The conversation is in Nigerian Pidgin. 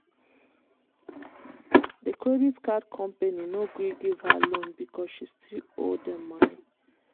the credit card company no gree give her loan because she still owe dem money.